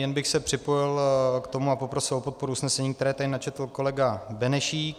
Jen bych se připojil k tomu a poprosil o podporu usnesení, které tady načetl kolega Benešík.